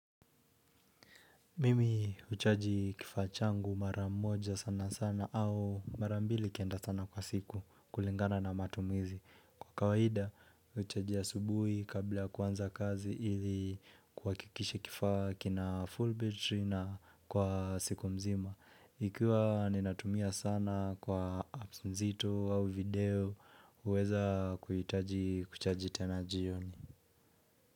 Mimi huchaji kifaa changu mara moja sana sana au mara mbili ikienda sana kwa siku kulingana na matumizi Kwa kawaida huchaji asubuhi kabla kuanza kazi ili kuhakikisha kifaa kina full battery na kwa siku mzima Ikiwa ninatumia sana kwa apps nzito au video huweza kuhitaji kuchaji tena jioni.